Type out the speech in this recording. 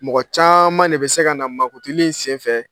Mɔgɔ caman ne bɛ se ka na mankutuli sen fɛ